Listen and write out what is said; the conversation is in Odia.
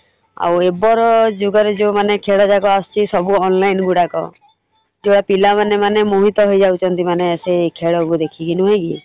ଆଉ ଏବର ଯୁଗରେ ଯଉମାନେ ଖେଳଯାକ ଆସୁଛି ସବୁ online ଗୁଡାକ ପିଲାମାନେ ମାନେ ମୋହିତ ହେଇଯାଉଛନ୍ତି ମାନେ ସେଇ ଖେଳକୁ ଦେଖିକି ନୁହେଁ କି ?